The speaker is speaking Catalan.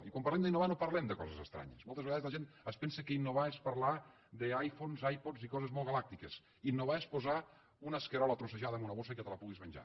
i quan parlem d’innovar no parlem de coses estranyes moltes vegades la gent es pensa que innovar és parlar d’iphones ipods i coses molt galàctiques innovar és posar una escarola trossejada en una bossa i que te la puguis menjar